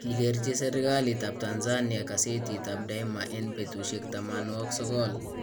Kikerchi serikaliitab Tanzania kasetit ab Daima en betusiek 90